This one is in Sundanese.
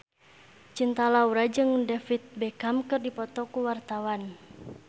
Cinta Laura jeung David Beckham keur dipoto ku wartawan